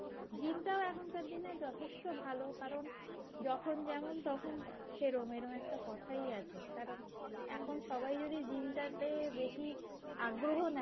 gym টাও এখনকার দিনের যথেষ্ট ভালো কারণ যখন যেমন তখন সেরকম এরম একটা কথাই আছে কারণ এখন সবাই যদি gym টাকে বেশি আগ্রহ নেয়,